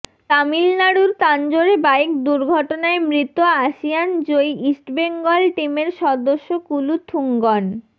তামিলনাড়ুর তাঞ্জোরে বাইক দুর্ঘটনায় মৃত আসিয়ান জয়ী ইস্টবেঙ্গল টিমের সদস্য কুলুথুঙ্গন